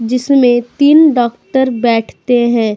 जिसमें तीन डॉक्टर बैठते हैं।